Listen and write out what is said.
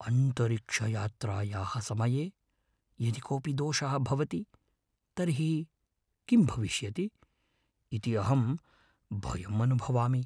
अन्तरिक्षयात्रायाः समये यदि कोऽपि दोषः भवति तर्हि किं भविष्यति इति अहं भयम् अनुभवामि।